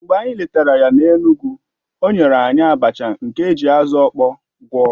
Mgbe anyị letara ya n'Enugwu, o nyere anyị abacha nke e ji azụ̀ ọkpọ gwọ̀